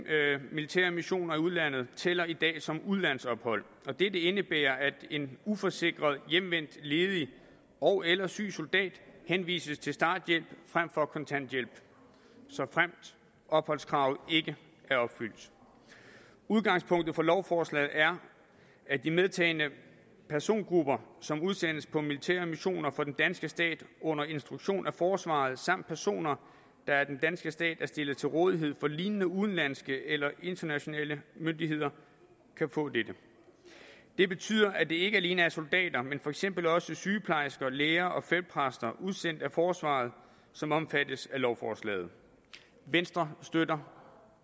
militære missioner i udlandet tæller i dag som udlandsophold og dette indebærer at en uforsikret hjemvendt ledig ogeller syg soldat henvises til starthjælp frem for kontanthjælp såfremt opholdskravet ikke er opfyldt udgangspunktet for lovforslaget er at de medtagne persongrupper som udsendes på militære missioner for den danske stat under instruktion af forsvaret samt personer der af den danske stat er stillet til rådighed for lignende udenlandske eller internationale myndigheder kan få dette det betyder at det ikke alene er soldater men for eksempel også sygeplejersker læger og feltpræster udsendt af forsvaret som omfattes af lovforslaget venstre støtter